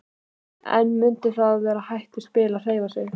En mundu að það er hættuspil að hreyfa sig.